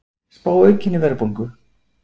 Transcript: Spá aukinni verðbólgu